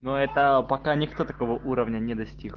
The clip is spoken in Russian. но это пока никто такого уровня не достиг